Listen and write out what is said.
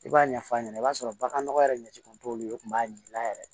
I b'a ɲɛf'a ɲɛna i b'a sɔrɔ bagan nɔgɔ yɛrɛ ɲɛci kun t'olu ye kun b'a yir'i la yɛrɛ